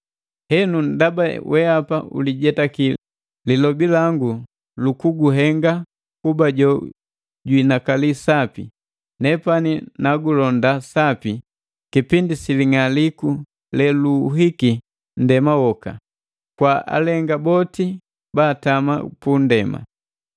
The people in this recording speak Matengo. Henu ndaba weapa ulijetaki lilobi langu lu kuguhenga kuba jo juinakali sapi, nepani nagulonda sapi kipindi si ling'aliku leluuhiki nndema woka, kwa alenga boti ba atama pu nndema.